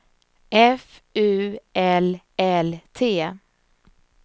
F U L L T